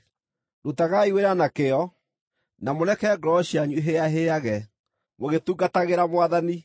Rutagai wĩra na kĩyo, na mũreke ngoro cianyu ihĩahĩage, mũgĩtungatagĩra Mwathani.